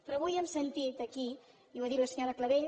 però avui hem sentit aquí i ho ha dit la senyora clavell